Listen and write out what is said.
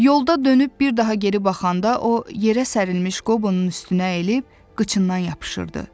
Yolda dönüb bir daha geri baxanda o yerə sərilmiş Qobonun üstünə əyilib qıçından yapışırdı.